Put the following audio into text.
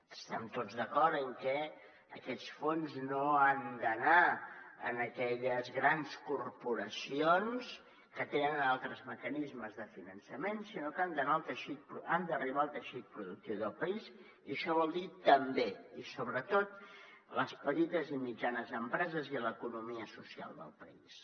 estem tots d’acord en que aquests fons no han d’anar a aquelles grans corporacions que tenen altres mecanismes de finançament sinó que han d’arribar al teixit productiu del país i això vol dir també i sobretot a les petites i mitjanes empreses i l’economia social del país